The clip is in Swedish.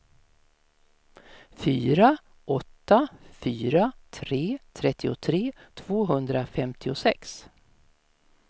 fyra åtta fyra tre trettiotre tvåhundrafemtiosex